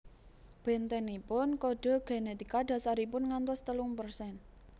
Bentenipun kode genetika dasaripun ngantos telung persen